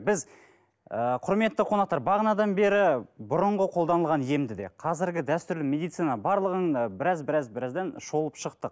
біз ы құрметті қонақтар бағанадан бері бұрынғы қолданылған емді де қазіргі дәстүрлі медицина барлығын ы біраз біраз біраздан шолып шықтық